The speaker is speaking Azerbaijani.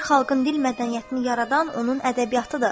Bir xalqın dil mədəniyyətini yaradan onun ədəbiyyatıdır.